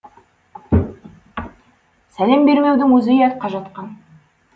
сәлем бермеудің өзі ұятқа жатқан